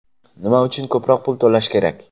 Nima uchun ko‘proq pul to‘lash kerak?